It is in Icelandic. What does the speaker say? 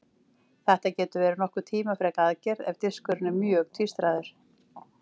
Þetta getur verið nokkuð tímafrek aðgerð ef diskurinn er mjög tvístraður.